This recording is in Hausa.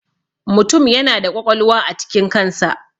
Mutum yana da ƙwaƙwalwa a cikin kan sa.